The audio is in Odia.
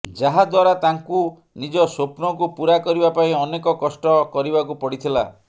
ଯାହା ଦ୍ୱାରା ତାଙ୍କୁ ନିଜ ସ୍ୱପ୍ନକୁ ପୂରା କରିବା ପାଇଁ ଅନେକ କଷ୍ଟ କରିବାକୁ ପଡ଼ିଥିଲା